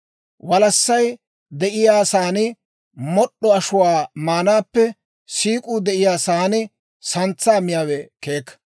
Walassay de'iyaa saan mod'd'o ashuwaa maanaappe siik'uu de'iyaa saan santsaa miyaawe keeka.